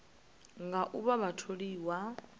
nga u vha vha tholiwa